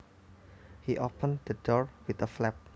He opened the door with a flap